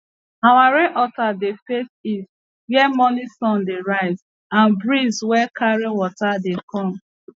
our rain altar dey face east where morning sun dey rise and breeze wey carry water dey come